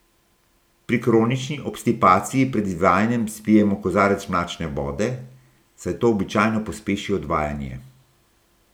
Pri kronični obstipaciji pred izvajanjem spijemo kozarec mlačne vode, saj to običajno pospeši odvajanje.